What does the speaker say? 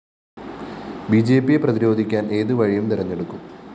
ബിജെപിയെ പ്രതിരോധിക്കാന്‍ ഏത് വഴിയും തെരഞ്ഞെടുക്കും